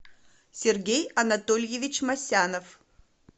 сергей анатольевич масянов